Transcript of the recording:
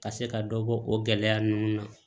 Ka se ka dɔ bɔ o gɛlɛya ninnu na